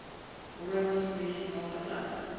rooibos medisinale plante